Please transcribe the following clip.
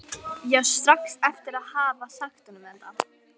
Ég sá strax eftir að hafa sagt honum þetta.